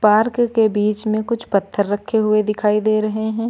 Park के बीच में कुछ पत्थर रखे हुए दिखाई दे रहे हैं।